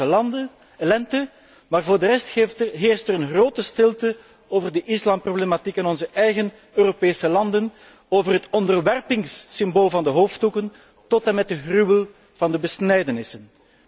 Arabische lente, maar voor de rest heerst er een grote stilte over de islamproblematiek in onze eigen Europese landen, over het onderwerpingssymbool van de hoofddoeken tot en met de gruwel van de besnijdenissen.